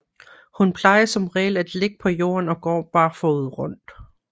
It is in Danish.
Hun plejer som regel at ligge på jorden og går barfodet rundt